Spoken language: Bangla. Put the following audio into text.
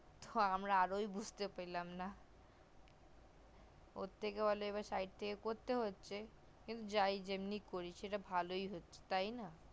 হু আমরা আজও বুঝতে পারলাম না ওর থেকে ভালো side থেকে করতে হচ্ছে কিন্তু যাই করি যেমনি করি তাই সেটা ভালোই হচ্ছে তাই না